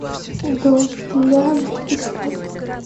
дуэлянт искать